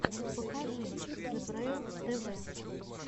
покажи зебрэйл тв